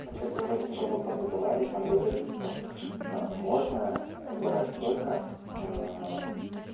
что-то вроде такой вопрос задавали там говорили типа можно брать столько